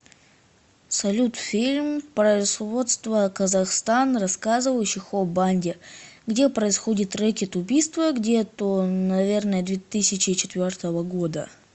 салют фильм производство казахстан рассказывающих о банде где происходит рэкет убийство где то наверное две тысячи четвертого года